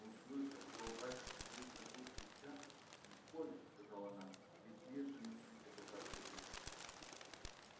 услыша что у батюшки триста душ крестьян легко ли сказала она ведь есть же на свете богатые люди